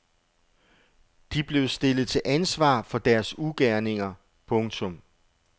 De blev stillet til ansvar for deres ugerninger. punktum